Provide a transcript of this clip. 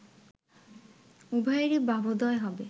উভয়েরই ভাবোদয় হবে